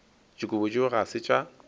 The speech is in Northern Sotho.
dikobo tšeo ga se tša